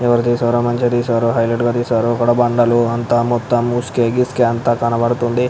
ఎవరు తీసారో మంచిగా ఉంది హైటీలైట్ గ ఉంది బండలు మొత్తం ముస్కె గిస్కె అంత కనబడుతుంది --